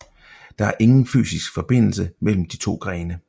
Der er ingen fysisk forbindelse mellem de to grene